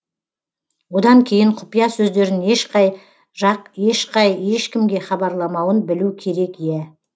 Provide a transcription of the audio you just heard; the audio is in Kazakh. одан кейін құпия сөздерін ешқай жақ ешқай ешкімге хабарламауын білу керек иә